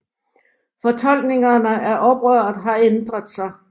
Fortolkningerne af oprøret har ændret sig